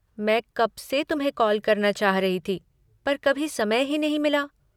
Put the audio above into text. मैं कब से तुम्हें कॉल करना चाह रही थी पर कभी समय ही नहीं मिला।